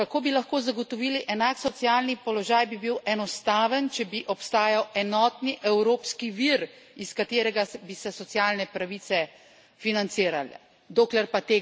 Odgovor, kako bi lahko zagotovili enak socialni položaj, bi bil enostaven, če bi obstajal enotni evropski vir, iz katerega bi se socialne pravice financirale.